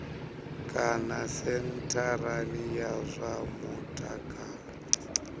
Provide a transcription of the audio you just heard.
kana sentharani ya zwa mutakalo